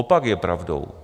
Opak je pravdou.